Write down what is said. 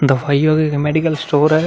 दवाइयों के medical store है।